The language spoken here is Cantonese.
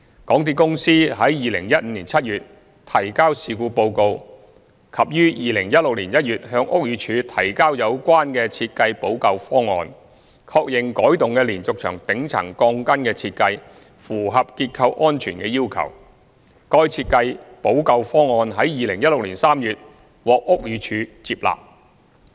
港鐵公司於2015年7月提交事故報告及於2016年1月向屋宇署提交有關設計補救方案，確認改動的連續牆頂層鋼筋的設計符合結構安全的要求，該設計補救方案於2016年3月獲屋宇署接納。